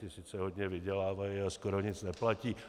Ty sice hodně vydělávají, ale skoro nic neplatí.